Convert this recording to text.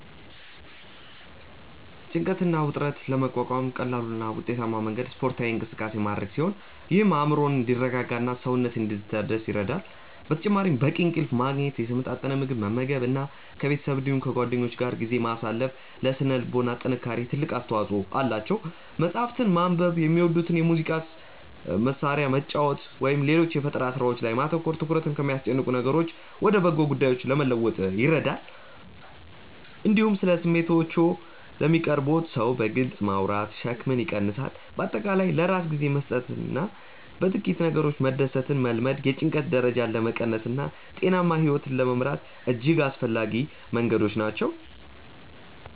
ጭንቀትን እና ውጥረትን ለመቋቋም ቀላሉ እና ውጤታማው መንገድ ስፖርታዊ እንቅስቃሴ ማድረግ ሲሆን ይህም አእምሮ እንዲረጋጋና ሰውነት እንዲታደስ ይረዳል። በተጨማሪም በቂ እንቅልፍ ማግኘት፣ የተመጣጠነ ምግብ መመገብ እና ከቤተሰብ እንዲሁም ከጓደኞች ጋር ጊዜ ማሳለፍ ለሥነ ልቦና ጥንካሬ ትልቅ አስተዋጽኦ አላቸው። መጽሐፍትን ማንበብ፣ የሚወዱትን የሙዚቃ መሣሪያ መጫወት ወይም ሌሎች የፈጠራ ሥራዎች ላይ ማተኮር ትኩረትን ከሚያስጨንቁ ነገሮች ወደ በጎ ጉዳዮች ለመለወጥ ይረዳሉ። እንዲሁም ስለ ስሜቶችዎ ለሚቀርቡዎት ሰው በግልጽ ማውራት ሸክምን ይቀንሳል። በአጠቃላይ ለራስ ጊዜ መስጠትና በጥቂት ነገሮች መደሰትን መልመድ የጭንቀት ደረጃን ለመቀነስና ጤናማ ሕይወት ለመምራት እጅግ አስፈላጊ መንገዶች ናቸው።